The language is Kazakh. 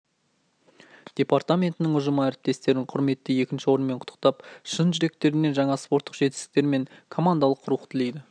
департаментінің ұжымы әріптестерін құрметті екінші орынмен құттықтап шын жүректерінен жаңа спорттық жетістіктер мен командалық рух тілейді